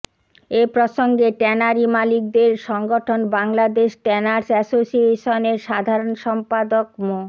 এ প্রসঙ্গে ট্যানারি মালিকদের সংগঠন বাংলাদেশ ট্যানার্স অ্যাসোসিয়েশনের সাধারণ সম্পাদক মো